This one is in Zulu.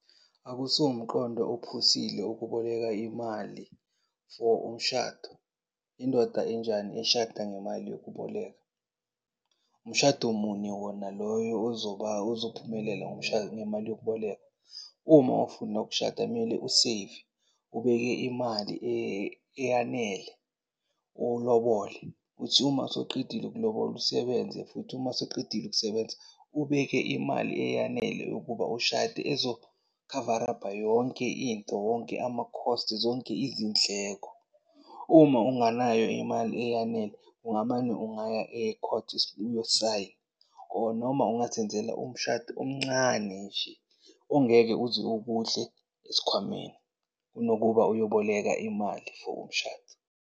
Akusiwo umqondo ophusile ukuboleka imali for umshado. Indoda enjani eshada ngemali yokuboleka? Umshado muni wona loyo ozophumelela ngemali yokubolekwa. Uma ufuna ukushada mele useyive, ubeke imali eyanele, ulobole. Kuthi uma sewuqedile ukulobola usebenze futhi, uma sewuqedile ukusebenza, ubeke imali eyanele yokuba ushade ezokhavarapha yonke into, wonke ama-costs, zonke izindleko. Uma unganayo imali eyanele, ungamane, ungaya e-court uyo-sign-a or noma ungazenzela umshado omncane nje ongeke uze ukudle esikhwameni kunokuba uyoboleka imali for umshado.